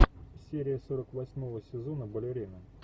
серия сорок восьмого сезона балерина